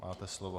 Máte slovo.